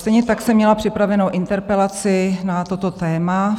Stejně tak jsem měla připravenou interpelaci na toto téma.